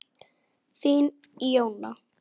Þín, Jóna.